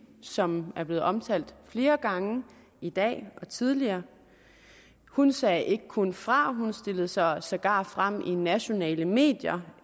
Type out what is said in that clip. som er blevet omtalt flere gange i dag og tidligere hun sagde ikke kun fra hun stillede sig sågar frem i nationale medier